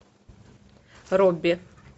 робби